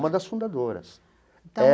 Uma das fundadoras é.